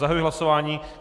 Zahajuji hlasování.